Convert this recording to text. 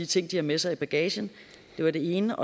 ting de har med sig i bagagen det var det ene